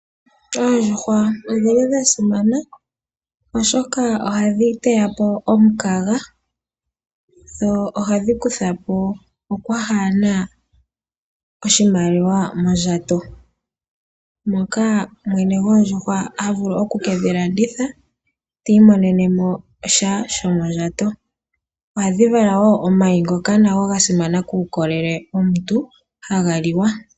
Oondjuhwa odha simana, oshoka ohadhi tidha po omukaga dho ohadhi kutha po okwaa he na oshimaliwa mondjato. Mwene goondjuhwa oha vulu oku ke dhi landitha e ta imonene mo sha shomondjato. Ohadhi vala woo omayi ngoka ga simana kuulolele womuntu haga liwa.